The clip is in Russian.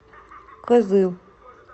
кызыл